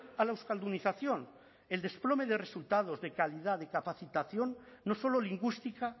a la euskaldunización el desplome de resultados de calidad de capacitación no solo lingüística